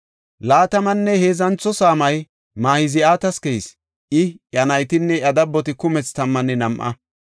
Laatamanne heedzantho saamay Mahzi7aata keyis; I, iya naytinne iya dabboti kumethi tammanne nam7a.